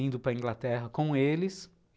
indo para a Inglaterra com eles.